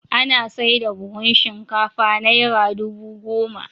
Ana saida buhun shinkafa Naira dubu goma.